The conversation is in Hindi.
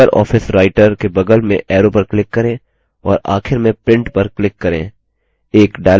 libreoffice writer के बगल में arrow पर click करें और आखिर में print पर click करें